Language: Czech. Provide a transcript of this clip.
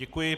Děkuji.